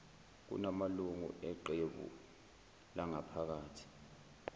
kunamalungu eqebu langaphakathi